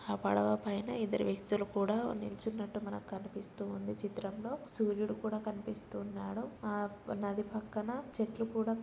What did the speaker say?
ఆ పడవ పైన ఇద్దరు వ్యక్తులు కూడా నిల్చున్నటు మనకు కనిపిస్తుంది ఈ చిత్రం లో సూరీడు కూడా కనిపిస్తున్నాడు ఆ నది పక్కన చెట్లు కూడా --